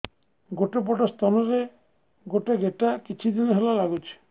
ଗୋଟେ ପଟ ସ୍ତନ ରେ ଗୋଟେ ଗେଟା କିଛି ଦିନ ହେଲା ଲାଗୁଛି